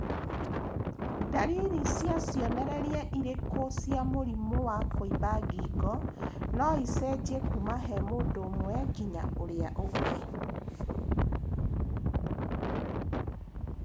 Ndariri na cionereria irĩkũ cia mũrimũ wa kũimba ngingo noicenjie kuma he mũndũ ũmwe nginya ũrĩa ũngĩ